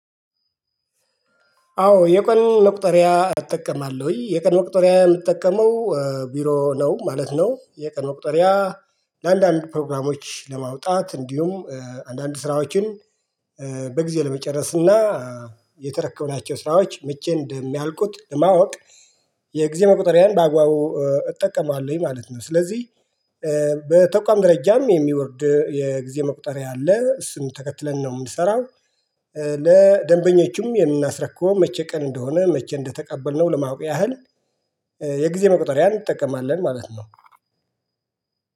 አዎ የቀን መቁጠሪያ እጠቀማለሁኝ የቀን መቁጠሪያ የምጠቀመው ቢሮ ነው ማለት ነው የቀን መቁጥሪያ። ለአንዳንድ ፕሮግራሞች ለማውጣት እንዲሁም አንዳንድ ስራዎችን በጊዜ ለመጨረስ እና የተረከብናቸው ስራዎች መቼ እንደሚያልቁት ለማወቅ የጊዜ መቁጠሪያን በአግባቡ እጠቀማለሁኝ ማለት ነው። ስለዚህ በተቋም ደረጃም የሚወርድ የጊዜ መቁጠሪያ አለ እሱን ተከትለን ነው የምንሰራው። ለደንበኞቹም የምናስረክው መቼ ቀን እንደሆነ መቼ እንደተቀበልነው ለማወቅ ያህል የጊዜ መቁጠሪያ እንጠቀማለን ማለት ነው።